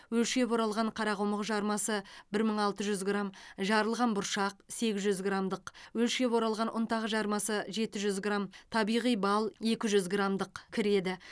өлшеп оралған қарақұмық жармасы бір мың алты жүз грамм жарылған бұршақ сегіз жүз граммдық өлшеп оралған ұнтақ жармасы жеті жүз грамм табиғи бал екі жүз граммдық кіреді